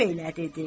bu belə dedi.